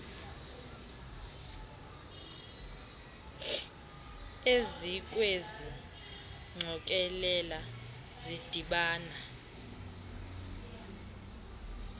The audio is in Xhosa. ezikwezi ngqokelela zidibana